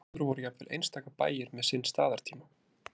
Áður voru jafnvel einstaka bæir með sinn staðartíma.